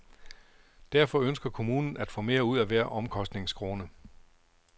Derfor ønsker kommunen at få mere ud af hver omkostningskrone.